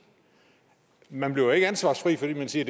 man bliver ikke ansvarsfri fordi man siger